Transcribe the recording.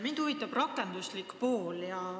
Mind huvitab rakenduslik pool.